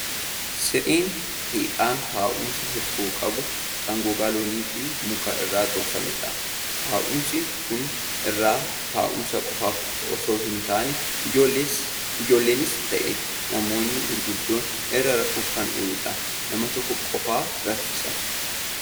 Siree teephaan taa'umsa hirkoo qabu, kan gogaa loonii fi muka irraa tolfamudha. Taa'umsi kun irra taa'umsa qofaaf osoo hin taane, ijoollonnis ta'e namoonni gurguddoon irra rafuuf kan ooludha. Nama tokko qofaa raffisa.